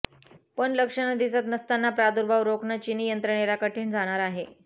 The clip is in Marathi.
पण लक्षणं दिसत नसताना प्रादूर्भाव रोखणं चीनी यंत्रणेला कठीण जाणार आहे